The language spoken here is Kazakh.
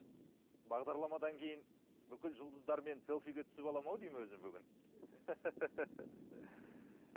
бағдарламадан кейін бүкіл жұлдыздармен селфиге түсіп аламын ау деймін өзім бүгін